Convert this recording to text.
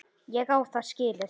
Ég á það skilið.